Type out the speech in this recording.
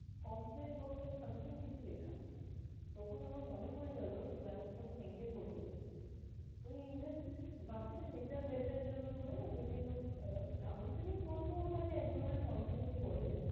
complain box or something কিছু লেখা। তখন আমার মনে পরে গেল, class তখন eight এ পড়ি, ওই জাস্ট বাচ্চাদের mental health এর জন্য হয়না বিভিন্ন আহ counselling বলবো ওটাকে একধরণের counselling ই বলে।